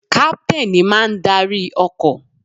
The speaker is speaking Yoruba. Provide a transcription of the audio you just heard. Captain ní máà ń arí ọkọ̀.